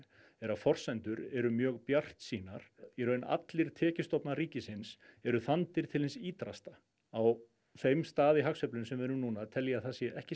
er að forsendur eru mjög bjartsýnar í raun allir tekjustofnar ríkisins eru þandir til hins ýtrasta á þeim stað í hagsveiflunni sem við erum núna tel ég að það sé ekki